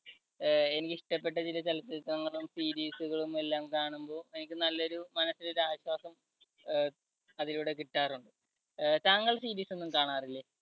അഹ് എനിക്കിഷ്ടപ്പെട്ട ചില ചിത്രങ്ങളും series കളും എല്ലാം കാണുമ്പോൾ എനിക്ക് നല്ലൊരു മനസ്സിന് ഒരു ആശ്വാസം അഹ് അതിലൂടെ കിട്ടാറുണ്ട്. അഹ് താങ്കൾ series ഒന്നും കാണാറില്ലേ?